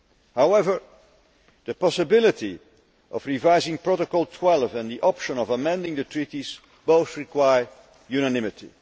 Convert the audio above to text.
However, the possibility of revising Protocol 12 and the option of amending the Treaties both require unanimity.